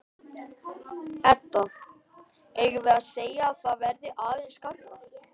Edda: Eigum við að segja að það verði aðeins skárra?